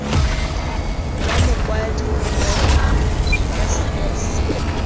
lwa mokwadi rre s s